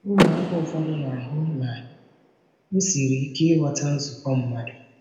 Ụmụaka ụfọdụ na-ahụ na ọ siri ike ịghọta nzukọ mmadụ.